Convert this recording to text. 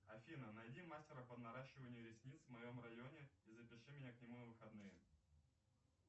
афина найди мастера по наращиванию ресниц в моем районе и запиши меня к нему на выходные